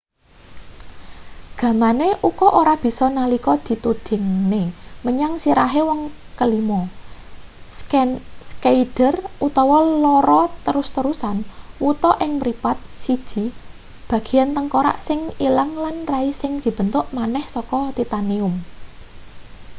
gamane uka ora bisa nalika ditudingne menyang sirahe wong kelima schneider duwe lara terus-terusan wuta ing mripat siji bagean tengkorak sing ilang lan rai sing dibentuk maneh saka titanium